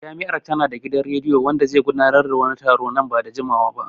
Jami'ar ta na da gidan rediyo wanda zai gudanar da wani taro nan ba da jimawa ba